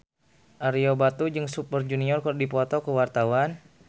Ario Batu jeung Super Junior keur dipoto ku wartawan